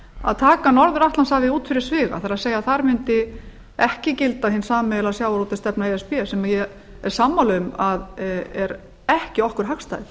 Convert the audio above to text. að taka norður atlantshafið út fyrir sviga það er þar mundi ekki gilda hin sameiginlega sjávarútvegsstefna e s b sem ég er sammála um að er ekki okkur hagstæð